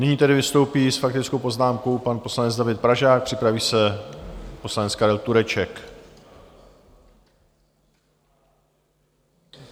Nyní tedy vystoupí s faktickou poznámkou pan poslanec David Pražák, připraví se poslanec Karel Tureček.